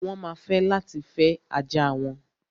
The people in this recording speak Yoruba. Wọ́n ma fẹ́ láti fẹ́ ajá wọn.